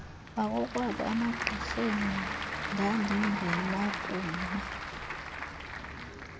bakokwabo emagqirheni ndandingenakuma